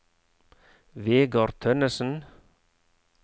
Vegar Tønnesen